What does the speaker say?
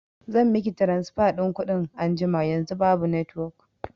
zan miki tiransifa ɗin kuɗin anjima, yanzu babu netiwok